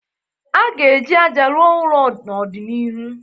A ga-eji ájá rụọ ụlọ n'ọdịnihu